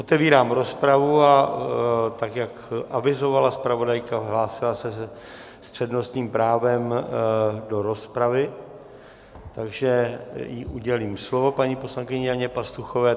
Otevírám rozpravu a tak, jak avizovala zpravodajka, hlásila se s přednostním právem do rozpravy, takže jí udělím slovo, paní poslankyni Janě Pastuchové.